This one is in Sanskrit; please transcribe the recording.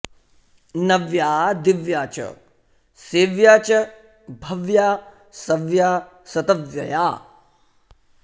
नव्या दिव्या च सेव्या च भव्या सव्या सतव्यया